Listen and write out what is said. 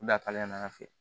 U lakale n'an fɛ